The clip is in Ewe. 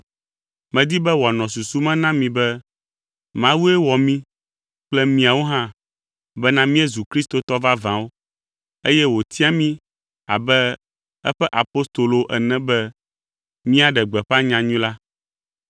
Medi be wòanɔ susu me na mi be Mawue wɔ mí kple miawo hã bena míezu kristotɔ vavãwo eye wòtia mí abe eƒe apostolowo ene be míaɖe gbeƒã nyanyui la.